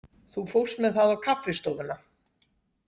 Þú fórst með það á kaffistofuna?